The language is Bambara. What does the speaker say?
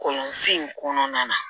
Kɔlɔnsen in kɔnɔna na